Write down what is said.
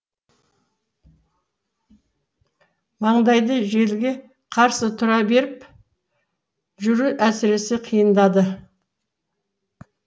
маңдайды желге қарсы тура беріп жүру әсіресе қиындады